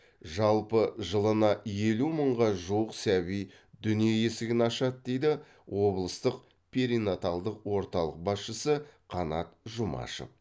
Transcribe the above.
жалпы жылына елу мыңға жуық сәби дүние есігін ашады дейді облыстық перинаталдық орталық басшысы қанат жұмашев